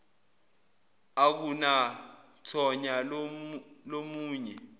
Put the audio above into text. akunathonya lomu nye